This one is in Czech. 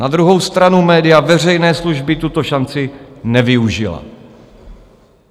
Na druhou stranu média veřejné služby tuto šanci nevyužila.